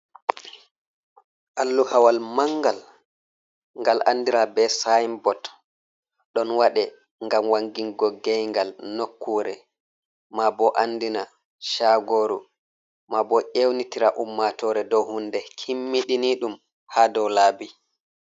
Alluha wal mangal ngal andira be sinbot ɗon waɗe ngam wangingo gay ngal nokkure ma bo andina chagoru ma bo ewnitira ummatore dow hunde kimmiɗiniɗum ha dow laabi.